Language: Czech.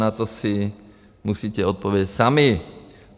Na to si musíte odpovědět sami.